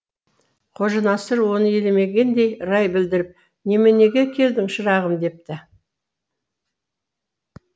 қожанасыр оны елемегендей рай білдіріп неменеге келдің шырағым депті